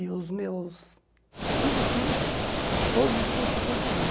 E os meus cinco tios, todos de construção civil.